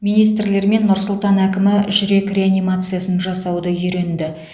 министрлер мен нұр сұлтан әкімі жүрек реанимациясын жасауды үйренді